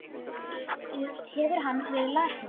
Hefur hann verið lasinn?